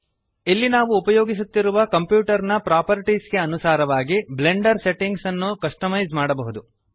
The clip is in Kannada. ಇಲ್ಲಿ ನಾವು ಉಪಯೋಗಿಸುತ್ತಿರುವ ಕಂಪ್ಯೂಟರ್ ನ ಪ್ರಾಪರ್ಟೀಸ್ ಗೆ ಅನುಸಾರವಾಗಿ ಬ್ಲೆಂಡರ್ ಸೆಟ್ಟಿಂಗ್ಸ್ ಅನ್ನು ಕಸ್ಟಮೈಜ್ ಮಾಡಬಹುದು